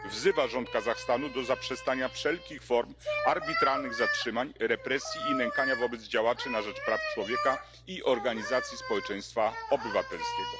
Wzywa rząd Kazachstanu do zaprzestania wszelkich form arbitralnych zatrzymań, represji i nękania wobec działaczy na rzecz praw człowieka i organizacji społeczeństwa obywatelskiego.